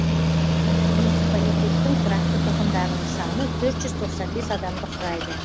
муниципалитеттің тұрақты тұрғындарының саны төрт жүз тоқсан бес адамды құрайды